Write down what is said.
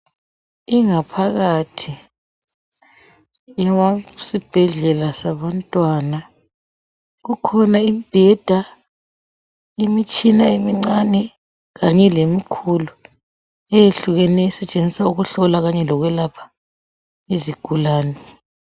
Ingaphakathi eyesibhedlela sabantwana. Kukhona imbheda, imitshina emincane kanye lemikhulu eyehlukeneyo, esetshenziswa ukuhlola kanye lokwelapha izigulane.